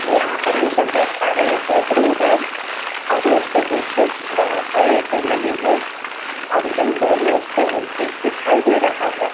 यहाँ पर हम सब देख पा रहे है कि एक रोड है और रोड के पीछे बड़ा सा एक नदी है और एक दम दूर मे उसपे भी ब्रिज दिखाई दे रहा है।